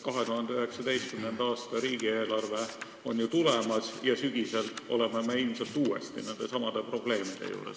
2019. aasta riigieelarve on ju tulemas ja sügisel me oleme ilmselt uuesti nendesamade probleemide ees.